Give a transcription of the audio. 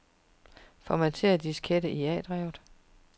Formater diskette i A-drevet.